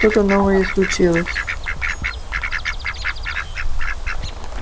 что-то новое случилось